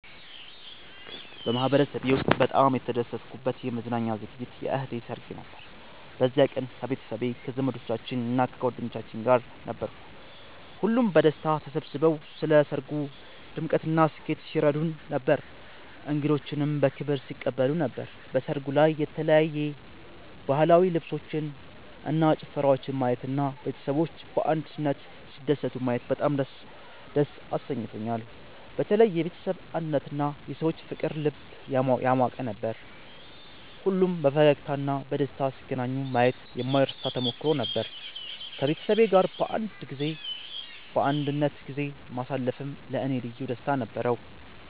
በማህበረሰቤ ውስጥ በጣም የተደሰትኩበት የመዝናኛ ዝግጅት የእህቴ ሰርግ ነበር። በዚያ ቀን ከቤተሰቤ፣ ከዘመዶቻችን እና ከጓደኞቻችን ጋር ነበርኩ። ሁሉም በደስታ ተሰብስበው ለሰርጉ ድምቀትና ስኬት ሲረዱን ነበር፣ እንግዶችንም በክብር ሲቀበሉ ነበር። በሰርጉ ላይ የተለያዩ ባህላዊ ልብሶችን እና ጭፈራወችን ማየት እና ቤተሰቦች በአንድነት ሲደሰቱ ማየት በጣም ደስ አሰኝቶኛል። በተለይ የቤተሰብ አንድነትና የሰዎች ፍቅር ልብ ያሟቅ ነበር። ሁሉም በፈገግታ እና በደስታ ሲገናኙ ማየት የማይረሳ ተሞክሮ ነበር። ከቤተሰቤ ጋር በአንድነት ጊዜ ማሳለፌም ለእኔ ልዩ ደስታ ነበረው።